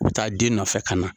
U bi taa den nɔfɛ ka na.